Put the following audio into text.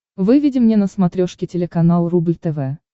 выведи мне на смотрешке телеканал рубль тв